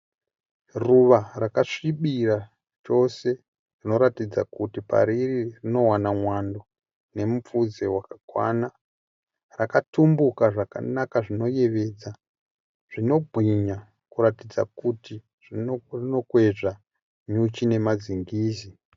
Ruva rakasvibira chose rinoratidza kuti pariri rinowana mwando nemupfudze wakakwana. Rakatumbuka zvakanaka zvinoyevedza, zvinobwinya kuratidza kuti rinokwezva nyuchi nemazingizi.